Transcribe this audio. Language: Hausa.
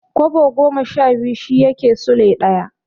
Kwabo goma sha biyu shi yake Sule ɗaya.